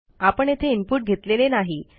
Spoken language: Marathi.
आपण येथे इनपुट घेतलेले नाही